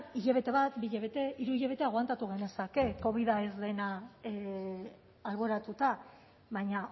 hilabete bat bi hilabete hiru hilabete aguantatu genezake covida ez dena alboratuta baina